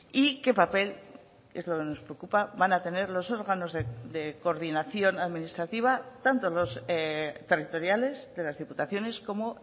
y qué papel es lo que nos preocupa van a tener los órganos de coordinación administrativa tanto los territoriales de las diputaciones como